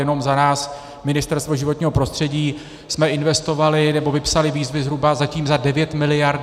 Jenom za nás, Ministerstvo životního prostředí, jsme investovali, nebo vypsali výzvy zhruba zatím za devět miliard.